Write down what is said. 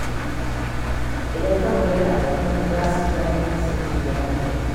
Idan ka kula da abokanka, za su ji daɗin kasancewa da kai.